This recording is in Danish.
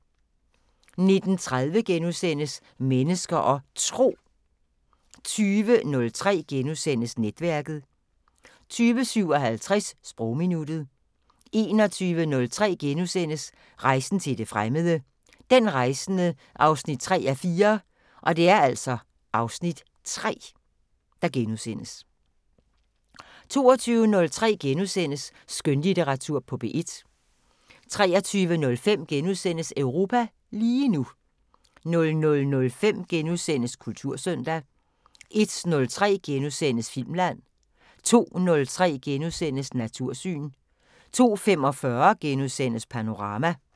19:30: Mennesker og Tro * 20:03: Netværket * 20:57: Sprogminuttet 21:03: Rejsen til det fremmede: Den rejsende 3:4 (Afs. 3)* 22:03: Skønlitteratur på P1 * 23:05: Europa lige nu * 00:05: Kultursøndag * 01:03: Filmland * 02:03: Natursyn * 02:45: Panorama *